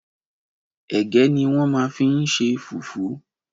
Ẹ̀gẹ́ ni wọ́n ma n lo fi ṣe fùfú.